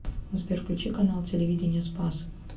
сбер включи канал телевидения спас